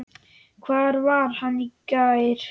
Hvar var hann í gær?